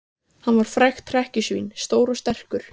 Hann var frægt hrekkjusvín, stór og sterkur.